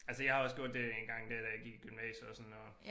Altså jeg har også gjort det engang dér da jeg gik i gymnasiet og sådan noget